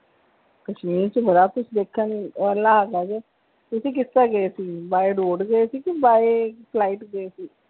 ਕਸ਼ਮੀਰ ਚ ਬੜਾ ਕੁੱਛ ਵੇਖਣ ਲਈ ਤੁਸੀਂ ਕਿਸ ਤਰਾਂ ਗਏ ਸੀ by road ਗਏ ਸੀ ਕੇ by flight ਗਏ ਸੀ?